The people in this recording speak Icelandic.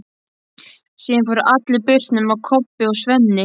Síðan fóru allir burt nema Kobbi og Svenni.